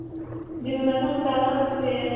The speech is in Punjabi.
ਜਿਵੇਂ ਮੈਂ ਤੁਹਾਨੂੰ ਪਹਿਲਾਂ ਦੱਸਿਆ.